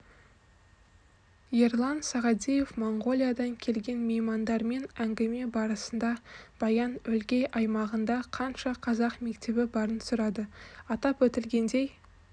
ерлан сағадиев моңғолиядан келген меймандардан әңгіме барысында баян-өлгей аймағында қанша қазақ мектебі барын сұрады атап өтілгендей